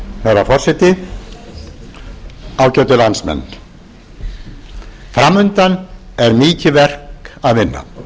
herra forseti ágætu landsmenn fram undan er mikið verk að vinna